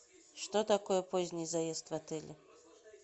что такое поздний заезд в отеле